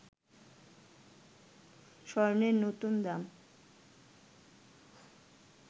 স্বর্ণের নতুন দাম